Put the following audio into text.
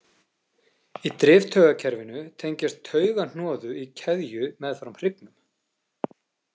Í driftaugakerfinu tengjast taugahnoðu í keðju meðfram hryggnum.